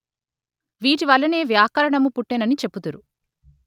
వీటివలనే వ్యాకరణము పుట్టెనని చెప్పుదురు